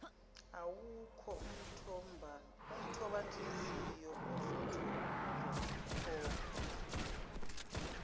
awukho umthobanhliziyo oyokhokhwa